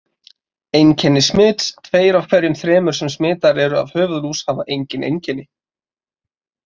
Einkenni smits Tveir af hverjum þremur sem smitaðir eru af höfuðlús hafa engin einkenni.